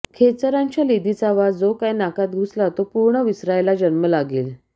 खेचरांच्या लिदीचा वास जो काय नाकात घुसला तो पूर्ण विसरायला जन्म लागेल